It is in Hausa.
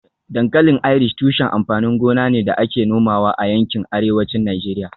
Dankalin Irish tushen amfanin gona ne da ake nomawa a yankin Arewacin Najeriya